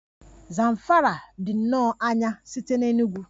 Zamfara dị nnọọ anya site na Enugwu